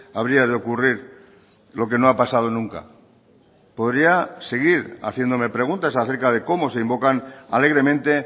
habría de ocurrir lo que no ha pasado nunca podría seguir haciéndome preguntas acerca de cómo se invocan alegremente